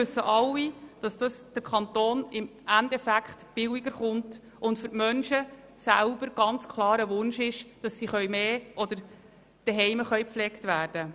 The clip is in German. Wir alle wissen, dass es den Kanton im Endeffekt billiger zu stehen kommt, und dass es ganz klar ein Wunsch dieser Menschen ist, zu Hause gepflegt zu werden.